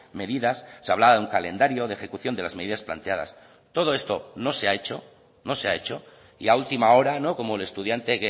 medidas se hablaba de un calendario de ejecución de las medidas planteadas todo esto no se ha hecho no se ha hecho y a última hora como el estudiante